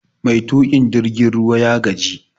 Mai tukin jirgin ruwa ya gaji